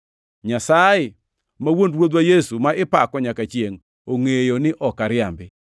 Nyasaye ma Wuon Ruodhwa Yesu ma ipako nyaka chiengʼ, ongʼeyo ni ok ariambi.